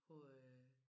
Hvor øh